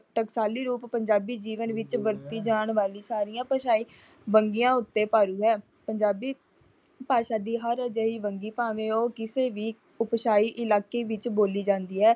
ਟਕਸਾਲੀ ਰੂਪ ਪੰਜਾਬੀ ਜੀਵਨ ਵਿੱਚ ਵਰਤੀ ਜਾਣ ਵਾਲੀ ਸਾਰੀਆਂ ਭਾਸ਼ਾਈ ਵੰਨਗੀਆਂ ਉੱਤੇ ਭਾਰੂ ਹੈ। ਪੰਜਾਬੀ ਭਾਸ਼ਾ ਦੀ ਹਰ ਅਜਿਹੀ ਵੰਨਗੀ ਭਾਵੇਂ ਉਹ ਕਿਸੇ ਵੀ ਉਪਸ਼ਾਹੀ ਇਲਾਕੇ ਵਿੱਚ ਬੋਲੀ ਜਾਂਦੀ ਹੈ।